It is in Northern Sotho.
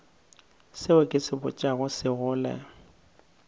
seo ke se botšago sekgole